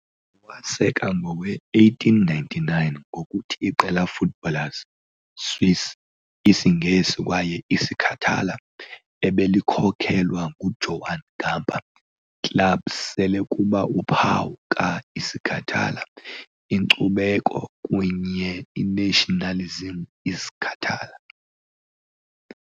Waseka ngowe-1899 ngokuthi iqela footballers, swiss, isingesi kwaye isicatala ebelikhokelwa Joan Gamper, club sele kuba uphawu ka-isicatala inkcubeko kunye nationalism isicatala.